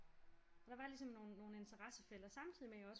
Og der var ligesom nogle interessefelter samtidig med at jeg også